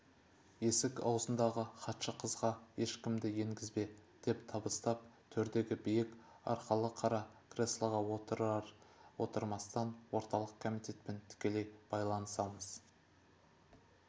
есік аузындағы хатшы қызға ешкімді енгізбе деп табыстап төрдегі биік арқалы қара креслоға отырар-отырмастан орталық комитетпен тікелей байланысатын